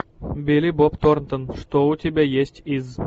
билли боб торнтон что у тебя есть из